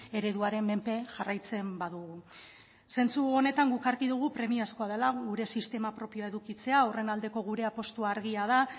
ereduaren menpe jarraitzen badugu zentzu honetan guk argi dugu premiazkoa dela gure sistema propioa edukitzea horren aldeko gure apustu argia da